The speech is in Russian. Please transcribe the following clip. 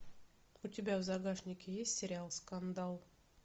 у тебя в загашнике есть сериал скандал